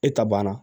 E ta banna